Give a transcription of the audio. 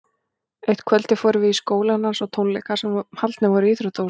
Eitt kvöldið fórum við í skólann hans á tónleika sem haldnir voru í íþróttahúsinu.